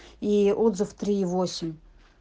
и отзыв три и восемь